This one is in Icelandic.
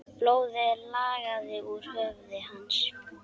Blóðið lagaði úr höfði hans.